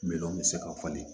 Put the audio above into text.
Miliyɔn bi se ka falen